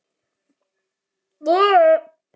Glámu stóra jór er með.